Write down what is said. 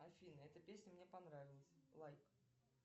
афина эта песня мне понравилась лайк